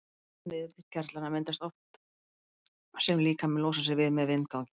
Við þetta niðurbrot gerlanna myndast loft sem líkaminn losar sig við með vindgangi.